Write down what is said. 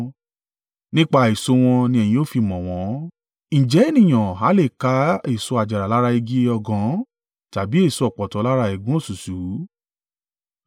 Nípa èso wọn ni ẹ̀yin ó fi mọ̀ wọn. Ǹjẹ́ ènìyàn ha lè ká èso àjàrà lára igi ọ̀gàn tàbí èso ọ̀pọ̀tọ́ lára ẹ̀gún òṣùṣú?